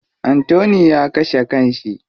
Anthony ya kashe kan shi.